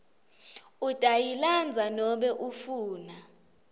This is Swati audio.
utayilandza nobe ufuna